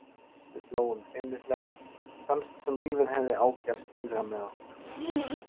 Við hlógum feimnislega, fannst sem lífið hefði ágerst innra með okkur.